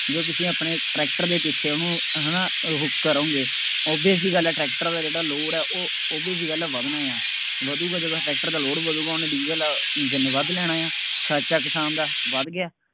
ਬਈ ਉਹ ਤੁਸੀਂ ਆਪਣੇ ਟਰੈਕਟਰ ਦੇ ਪਿੱਛੇ ਉਹਨੂੰ ਹੈ ਨਾ, ਉਹ ਕਰੋਂਗੇ, obvious ਜਿਹੀ ਗੱਲ ਹੈ, ਟਰੈਕਟਰ ਦਾ ਜਿਹੜਾ obvious ਹੈ ਉਹ load ਜਿਹੀ ਗੱਲ ਹੈ, ਵੱਧਣਾ ਹੈ, ਵੱਧੂਗਾ ਜਦੋਂ ਟਰੈਕਟਰ ਦਾ load ਵਧੂਗਾ, ਉਹਨੇ ਡੀਜ਼ਲ ਇੰਜਣ ਨੇ ਵੱਧ ਲੈਣਾ ਹੈ, ਖਰਚਾ ਕਿਸਾਨ ਦਾ ਵੱਧ ਗਿਆ,